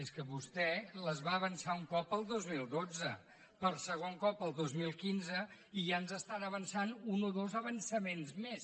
és que vostè les va avançar un cop el dos mil dotze per segon cop el dos mil quinze i ja ens estan avançant un o dos avançaments més